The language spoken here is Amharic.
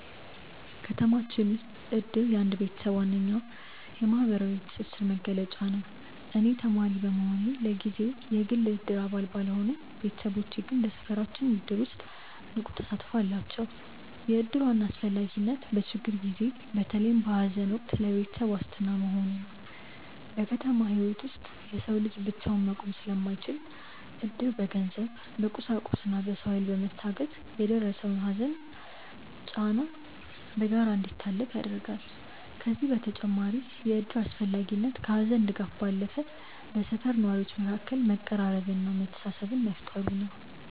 ከተማችን ውስጥ እድር የአንድ ቤተሰብ ዋነኛ የማህበራዊ ትስስር መገለጫ ነው። እኔ ተማሪ በመሆኔ ለጊዜው የግል የእድር አባል ባልሆንም፣ ቤተሰቦቼ ግን በሰፈራችን እድር ውስጥ ንቁ ተሳትፎ አላቸው። የእድር ዋና አስፈላጊነት በችግር ጊዜ፣ በተለይም በሐዘን ወቅት ለቤተሰብ ዋስትና መሆኑ ነው። በከተማ ህይወት ውስጥ የሰው ልጅ ብቻውን መቆም ስለማይችል፣ እድር በገንዘብ፣ በቁሳቁስና በሰው ኃይል በመታገዝ የደረሰውን ሐዘንና ጫና በጋራ እንዲታለፍ ያደርጋል። ከዚህም በተጨማሪ የእድር አስፈላጊነት ከሐዘን ድጋፍ ባለፈ በሰፈር ነዋሪዎች መካከል መቀራረብንና መተሳሰብን መፍጠሩ ነው።